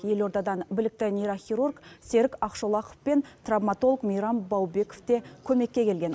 елордадан білікті нейрохирург серік ақшолақов пен травматолог мейрам баубеков те көмекке келген